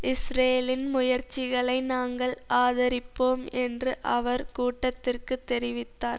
இஸ்ரேலின் முயற்சிகளை நாங்கள் ஆதரிப்போம் என்று அவர் கூட்டத்திற்கு தெரிவித்தார்